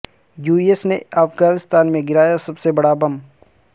you S نے افغانستان میں گرایا سب سے بڑا بم